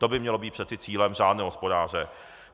To by mělo být přeci cílem řádného hospodáře.